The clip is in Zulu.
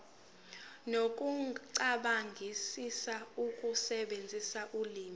nokucabangisisa ukusebenzisa ulimi